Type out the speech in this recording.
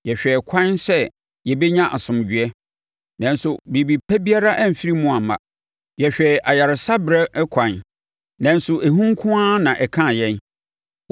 Yɛhwɛɛ ɛkwan sɛ yɛbɛnya asomdwoeɛ nanso biribi pa biara amfiri mu amma, yɛhwɛɛ ayaresa berɛ ɛkwan nanso ehu nko ara na ɛkaa yɛn.